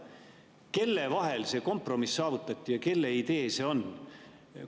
Kelle vahel see kompromiss saavutati ja kelle idee see on?